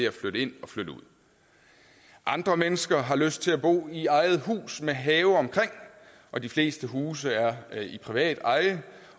at flytte ind og flytte ud andre mennesker har lyst til at bo i eget hus med have omkring og de fleste huse er i privat eje